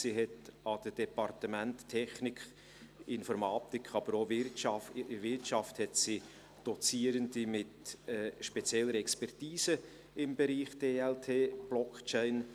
Sie hat bei den Departementen Technik, Informatik, aber auch Wirtschaft Dozierende mit spezieller Expertise im Bereich DLT/Blockchain.